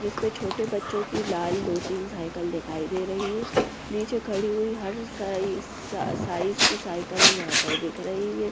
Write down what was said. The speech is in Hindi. जिस पर छोटे बच्चों की लाल दो तीन साइकिल दिखाई दे रही हैं नीचे खड़ी हुई हर साइज साइज की साइकिल यहाँ पर दिख रही है।